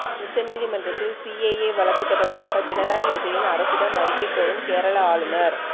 உச்ச நீதிமன்றத்தில் சிஏஏ வழக்கு தொடர்பாக பினராயி விஜயன் அரசிடம் அறிக்கை கோரும் கேரள ஆளுநர்